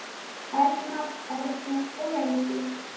Elmar, Erna og Eydís.